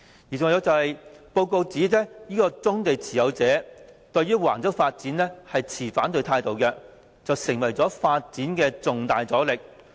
此外，研究報告指棕地持有者對橫洲發展持反對態度，成為發展的重大阻力。